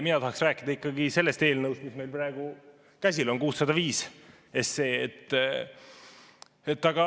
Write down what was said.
Mina tahaks rääkida ikkagi sellest eelnõust, mis meil praegu käsil on, 605 SE.